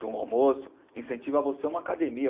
de um almoço, incentiva você a uma academia.